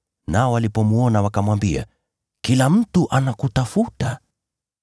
nao walipomwona, wakamwambia, “Kila mtu anakutafuta!”